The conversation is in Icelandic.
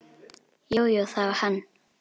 Jú, jú, það var hann.